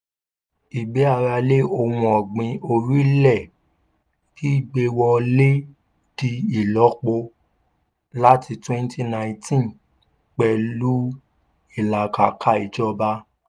ìgbé ara lé ohun ọ̀gbìn orílẹ̀ gbígbé wọlé di ìlọ́po láti twenty nineteen pẹ̀lú ìlàkàkà ìjọba.